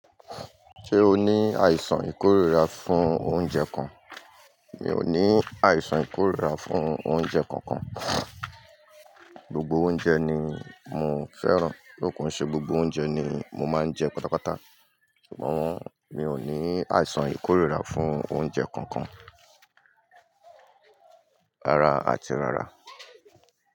Ṣé o ní àìsàn ìkórira fún oúnjẹ kan? Mi ò ní àìsàn ìkórira fún oúnjẹ kankan. Gbogbo oúnjẹ ni mo fẹ́ràn, though ko n ṣe gbogbo oúnjẹ ni mo máa ń jẹ patapata. Sugbon mi ò ní àìsàn ìkórira fún oúnjẹ kankan, rárá àti rárá.